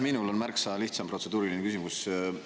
Minul on märksa lihtsam protseduuriline küsimus.